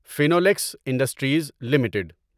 Finolex industries limited